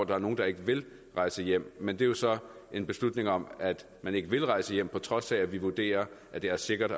der er nogle der ikke vil rejse hjem men det er jo så en beslutning om at man ikke vil rejse hjem på trods af at vi vurderer at det er sikkert